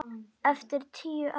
Eftir tíu ár.